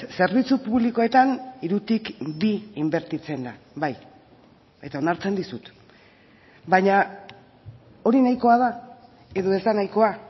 zerbitzu publikoetan hirutik bi inbertitzen da bai eta onartzen dizut baina hori nahikoa da edo ez da nahikoa